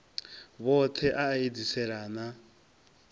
vhothe a a edziselea na